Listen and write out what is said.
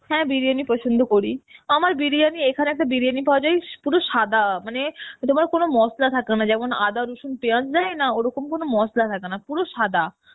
হ্যাঁ বিরিয়ানি পছন্দ করি, আমার বিরিয়ানি, এখানে একটা বিরিয়ানি পাওয়া যায়, পুরো সাদা মানে তোমার কোন মসলা থাকে না যেমন আদা রসুন পেঁয়াজ দেয় না ওরকম কোন মসলা থাকে না পুরো সাদা